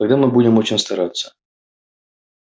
тогда мы будем очень стараться